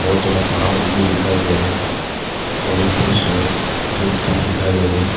बहोत सारा पहाड़ लोग भी दिखाई दे रहे हैं और ऊपर से धूप भी दिखाई दे रहे हैं।